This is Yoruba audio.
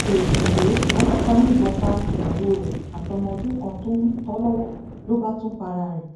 éèdì rèé ọlọpàá yìnbọn pa ìyàwó rẹ àtọmọ ọdún kan tó ń tọ lọwọ ló bá tún para ẹ